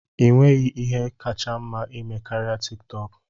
Ị nweghị ihe kacha mma ịme karịa TikTok?